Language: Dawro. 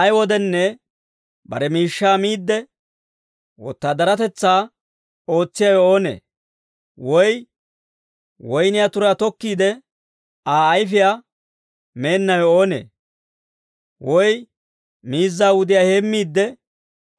Ay wodenne bare miishshaa miidde, wotaadaratetsaa ootsiyaawe oonee? Woy woyniyaa turaa tokkiide, Aa ayfiyaa meennawe oonee? Woy miizza wudiyaa heemmiidde,